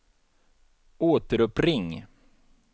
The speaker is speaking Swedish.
återuppring